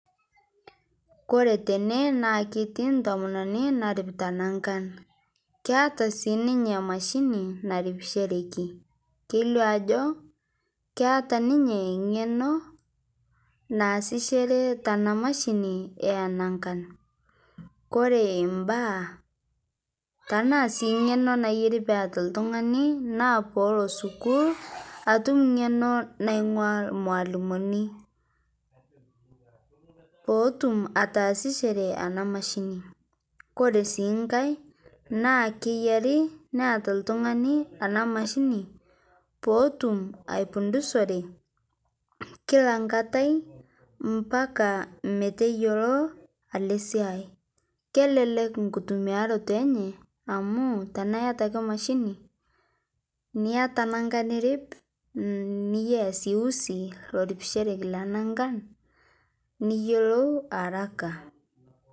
Kore tene naa ketii ntomononi naaripita nankaan. Keeta sii ninyee mashinii naripishereki. Keileo ajoo keeta ninyee ng'eno naasishere tana mashini e naakan. Kore baya tana sii ng'eno naeyeeri pee etaa ltung'ani naa poo oloo sukuul etuum ng'eno naing'uaa mwalimuni, poo otuum ataasishore ena mashiin. Kore sii nkaai naa keyaari neeta ltung'ani ena mashini poo otuum aifundusore kila ng'atai mbaaka meteiyeloo ele siai. Kelele nkutumiaroto enye amu tana eeta ake mashini, nieta nankaa niriip nieta sii usii nairipishoroki nankaan niyeloou haraka.